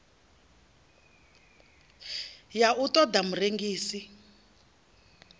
ya u ṱo ḓa murengisi